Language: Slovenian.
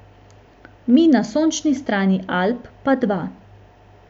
Mi na sončni strani Alp pa dva.